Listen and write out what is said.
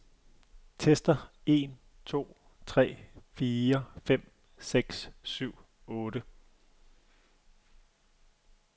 Tester en to tre fire fem seks syv otte.